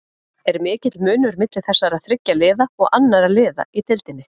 Er mikill munur milli þessara þriggja liða og annarra liða í deildinni?